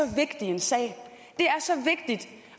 vigtig sag